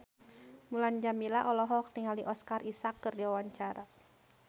Mulan Jameela olohok ningali Oscar Isaac keur diwawancara